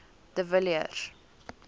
de villiers